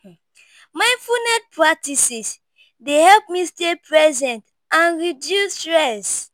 Mindfulness practices dey help me stay present and reduce stress.